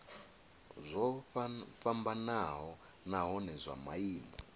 zwo fhambanaho nahone zwa maimo